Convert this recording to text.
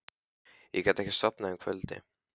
Ég gat ekki sofnað um kvöldið.